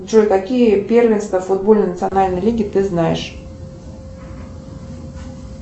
джой какие первенства футбольной национальной лиги ты знаешь